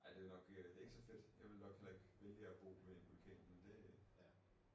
Ej det nok øh det ikke så fedt jeg ville nok heller ikke vælge at bo ved en vulkan men det